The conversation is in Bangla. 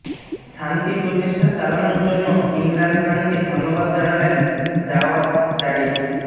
শান্তি প্রচেষ্টা চালানোর জন্য ইমরান খানকে ধন্যবাদ জানালেন জাওয়াদ জারিফ